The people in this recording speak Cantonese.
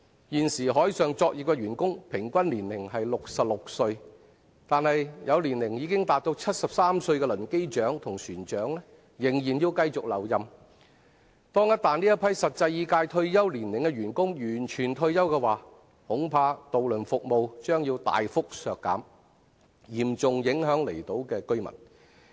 現時海上作業的員工平均年齡為66歲，但有年齡已達73歲的輪機長和船長仍需繼續留任，一旦這批實際已屆退休年齡的員工全部退休，恐怕渡輪服務將要大幅削減，嚴重影響離島居民。